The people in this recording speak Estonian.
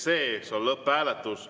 See on lõpphääletus.